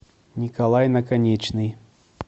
николай наконечный